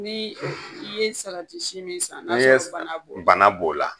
Ni i ye si min san n'a sɔrɔ bana b'o la bana b'o la.